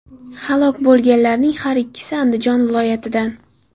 Halok bo‘lganlarning har ikkisi Andijon viloyatidan.